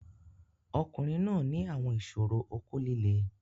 Ọkunrin naa ni awọn iṣoro oko lile